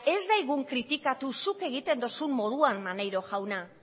ez da egun kritikatu zuk egiten dozun moduan maneiro jauna